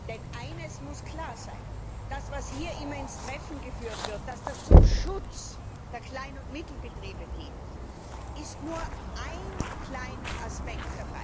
Denn eines muss klar sein Das, was hier immer ins Treffen geführt wird, dass das dem Schutz der Klein und Mittelbetriebe dient, ist nur ein kleiner Aspekt.